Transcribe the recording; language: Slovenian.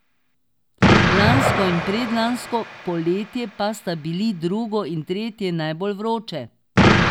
Lansko in predlansko poletje pa sta bili drugo in tretje najbolj vroče.